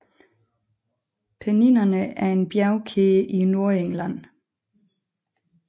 Penninerne er en bjergkæde i Nordengland